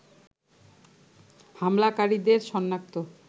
হামলাকারীদের সনাক্ত